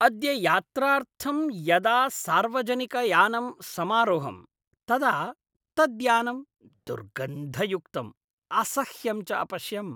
अद्य यात्रार्थं यदा सार्वजनिकयानम् समारोहम् तदा तद्यानं दुर्गन्धयुक्तं असह्यं च अपश्यम्।